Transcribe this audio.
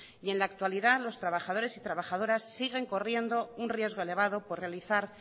y en la actualidad los trabajadores y trabajadoras siguen corriendo un riesgo elevado por realizar